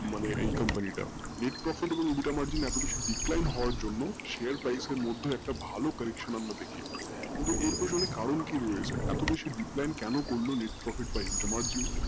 মানে এই company টা net profit হওয়ার জন্য margin এর মতো একটা ভালো decline কিন্তু এর পেছনে কারণ কি রয়েছে এতো বেশি corruption কেন করলো